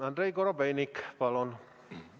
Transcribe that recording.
Andrei Korobeinik, palun!